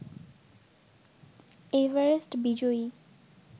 Everest বিজয়ী